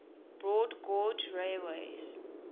broad gauge railways